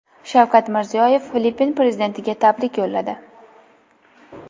Shavkat Mirziyoyev Filippin prezidentiga tabrik yo‘lladi.